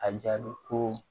A jaabi ko